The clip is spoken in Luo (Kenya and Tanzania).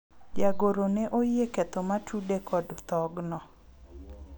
jagoro ne oyie ketho ma tude kod thogno